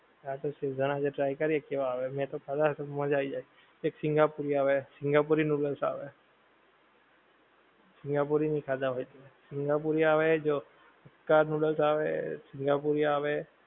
. હા તો schezwan આજે try કરીયે કેવા આવે, મેં તો ખાદા છે તો મજા આઈ જાએ એક સિંગાપુરી આવે સિંગાપુરી noodles આવે, સિંગાપુરી નહીં ખાદા હોએ તે, સિંગાપુરી આવે જો, hakka noodles આવે, સિંગાપુરી આવે